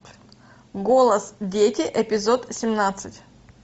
голос дети эпизод семнадцать